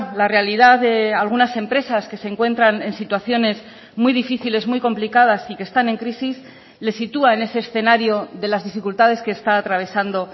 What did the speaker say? la realidad de algunas empresas que se encuentran en situaciones muy difíciles muy complicadas y que están en crisis le sitúa en ese escenario de las dificultades que está atravesando